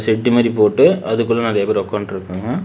Set மாறி போட்டு அதுக்குள்ள நெறைய பேர் ஒக்காண்ட்ருக்காங்க.